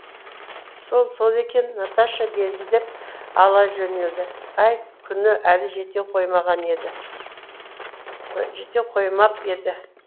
сол сол екен наташа безілдеп ала жөнелді ай күні әлі жете қоймап еді